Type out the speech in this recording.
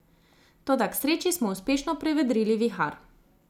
Toda k sreči smo uspešno prevedrili vihar.